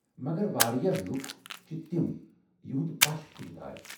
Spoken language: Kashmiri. مگر واریاہ لُکھ چھِ تَم یہٕنٛدِ پش پُھٹِتھ آیہ ۔